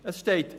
Es steht: